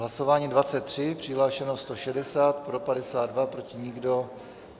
Hlasování 23, přihlášeno 160, pro 52, proti nikdo.